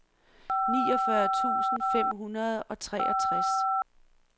niogfyrre tusind fem hundrede og treogtres